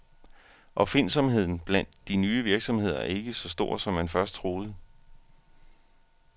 Opfindsomheden blandt de nye virksomheder er ikke så stor, som man først troede.